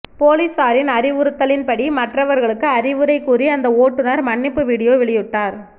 போலீசாரின் அறிவுறுத்தலின் படி மற்றவர்களுக்கு அறிவுரை கூறி அந்த ஓட்டுனர் மன்னிப்பு வீடியோ வெளியிட்டார்